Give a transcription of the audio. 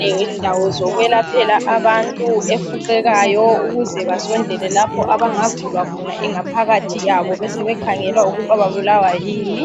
lendawo zokwelaphela abantu efuqekayo ukuze basondele lapho abangavulwa khona ingaphakathi yabo besebekhangela ukuthi babulawa yini.